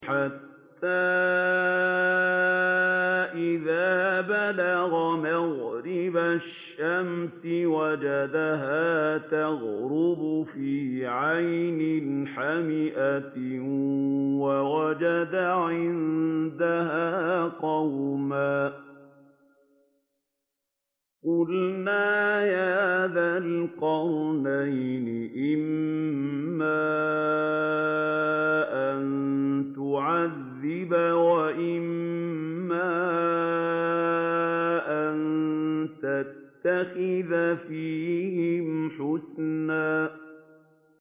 حَتَّىٰ إِذَا بَلَغَ مَغْرِبَ الشَّمْسِ وَجَدَهَا تَغْرُبُ فِي عَيْنٍ حَمِئَةٍ وَوَجَدَ عِندَهَا قَوْمًا ۗ قُلْنَا يَا ذَا الْقَرْنَيْنِ إِمَّا أَن تُعَذِّبَ وَإِمَّا أَن تَتَّخِذَ فِيهِمْ حُسْنًا